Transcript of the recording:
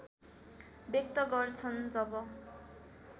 व्यक्त गर्छन् जब